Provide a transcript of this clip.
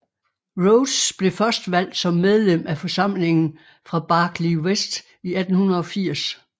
Rhodes blev først valgt som medlem af forsamlingen fra Barkly West i 1880